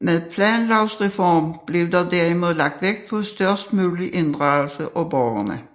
Med planlovreformen blev der derimod lagt vægt på størst mulig inddragelse af borgerne